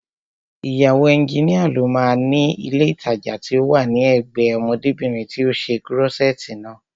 Ìyàwó ẹnjínìa ló máa ni ilé ìtajà tí ó wà ní ẹ̀gbẹ́ẹ ọmọdébìnrin tí ó ṣe kúrọ́ṣẹ̀ẹ̀tì naa